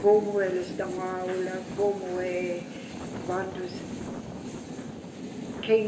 Como eles dão aula, como é, quantos, quem...